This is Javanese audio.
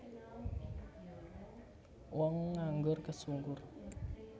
Wong nganggur kesungkur